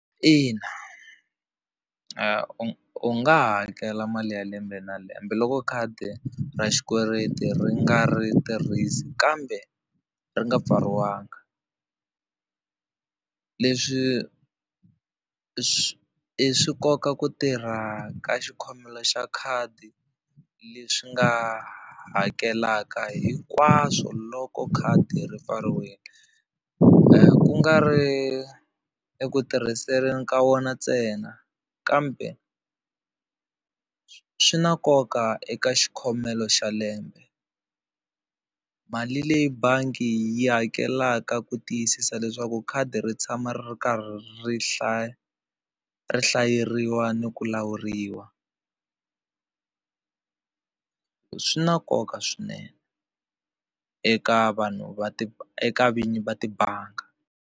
Ina, u nga hakela mali ya lembe na lembe loko khadi ra xikweleti ri nga ri tirhisi kambe ri nga pfariwanga. Leswi swi swi koka ku tirha ka xikhomela xa khadi leswi nga hakelaka hinkwaswo loko khadi ri pfariwile kungari eku tirhiseni ka wona ntsena kambe swi na nkoka eka xikhomelo xa lembe. Mali leyi bangi yi hakelaka ku tiyisisa leswaku khadi ri tshama ri ri karhi ri hlaya ri hlayeriwa ni ku lawuriwa, swi na nkoka swinene eka vanhu va eka vinyi va tibangi.